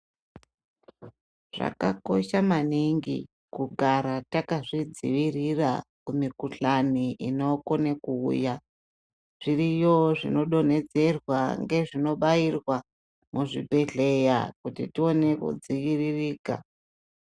Zvakakosha maningi kugara takazvidzivirira kumikuhlani inokone kuuya. Zviriyo zvinodonhedzerwa ngezvinobairwa muzvibhedhleya kuti tione kudziririka.